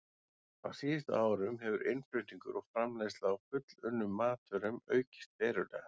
Á síðustu árum hefur innflutningur og framleiðsla á fullunnum matvörum aukist verulega.